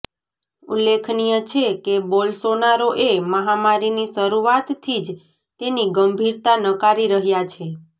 ઉલ્લેખનીય છે કે બોલ્સોનારો એ મહામારીની શરૂઆતથી જ તેની ગંભીરતા નકારી રહ્યા છે